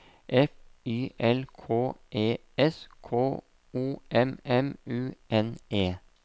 F Y L K E S K O M M U N E